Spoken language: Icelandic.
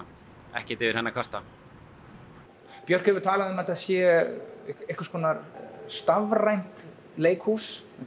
ekkert yfir henni að kvarta björk hefur talað um að þetta sé einhvers konar stafrænt leikhús